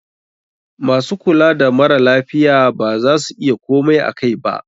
MAsu kula da mara lafiyan ba za su iya komai akai ba.